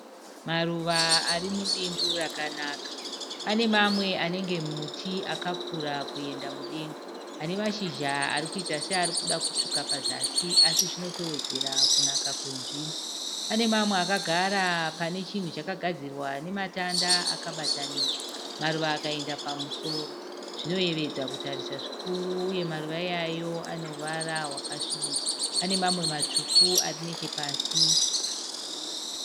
Musikana munaku mutsvuku akashongedzwa nemhete mumusoro yesirivha. Anevhudzi dema netsiye dzitema akatsikitsira pasi.